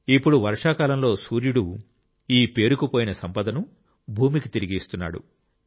ఇప్పుడు వర్షాకాలంలో సూర్యుడు ఈ పేరుకుపోయిన సంపదను భూమికి తిరిగి ఇస్తున్నాడు